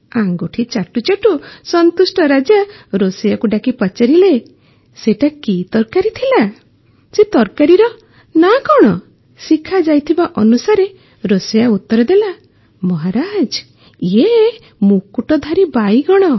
ଆଙ୍ଗୁଠି ଚାଟୁ ଚାଟୁ ସନ୍ତୁଷ୍ଟ ରାଜା ରୋଷେଇୟାକୁ ଡାକି ପଚାରିଲେ ସେଇଟା କି ତରକାରି ଥିଲା ସେ ତରକାରୀର ନାଁ କଣ ଶିଖାଯାଇଥିବା ଅନୁସାରେ ରୋଷେଇୟା ଉତର ଦେଲା ମହାରାଜ ଇଏ ମୁକୁଟଧାରୀ ବାଇଗଣ